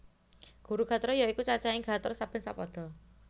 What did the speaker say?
Guru gatra ya iku cacahing gatra saben sapada